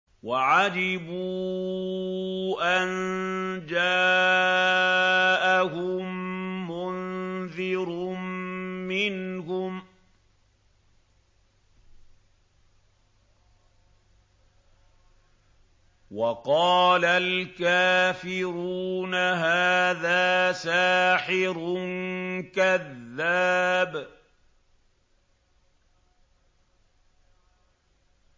وَعَجِبُوا أَن جَاءَهُم مُّنذِرٌ مِّنْهُمْ ۖ وَقَالَ الْكَافِرُونَ هَٰذَا سَاحِرٌ كَذَّابٌ